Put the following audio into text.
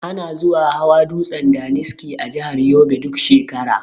Ana zuwa hawa dutsen daniski a jahar yobe duk shekara